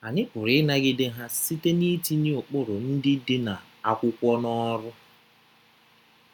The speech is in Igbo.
Anyị pụrụ ịnagide ha site n’itinye ụkpụrụ ndị dị na akwụkwọ n’ọrụ.